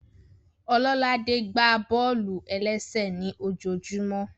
Ọlọ́ládé gbá bọ́ọ̀lù-ẹlẹ́sẹ̀ ní ojojúmọ́